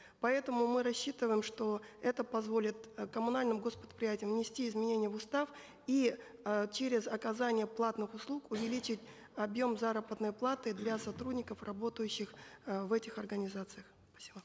поэтому мы рассчитываем что это позволит э коммунальным гос предприятиям внести изменения в устав и э через оказание платных услуг увеличить объем заработной платы для сотрудников работающих э в этих организациях спасибо